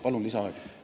Palun lisaaega!